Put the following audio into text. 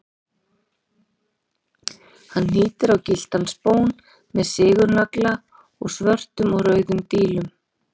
Hann hnýtti á gylltan spón með sigurnagla og svörtum og rauðum dílum.